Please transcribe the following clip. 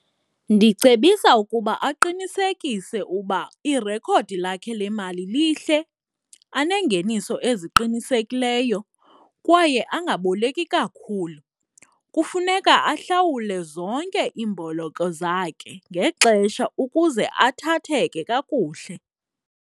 Ndicebisa ukuba aqinisekise uba irekhodi lakhe le mali lihle, anengeniso eziqinisekileyo kwaye angaboleki kakhulu. Kufuneka ahlawule zonke iimboloko zakhe ngexesha ukuze athatheke kakuhle.